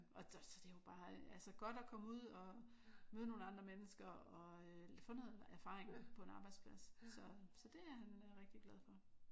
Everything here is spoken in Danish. Og så er det jo bare altså godt at komme ud og møde nogle andre mennesker og øh få noget erfaring på en arbejdsplads så så det er han rigtig glad for